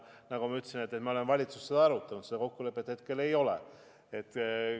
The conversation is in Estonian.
Nagu ma ütlesin, me oleme valitsuses seda arutanud, kuid seda kokkulepet hetkel ei ole.